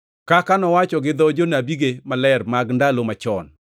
(kaka nowacho gi dho jonabige maler mag ndalo machon),